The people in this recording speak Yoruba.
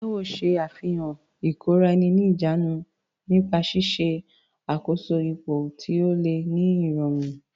Taiwo ṣe àfihàn ìkóra-ẹni-níjàánu nípa ṣíṣe àkóso ipò tí ó le ní ìrọ̀rùn.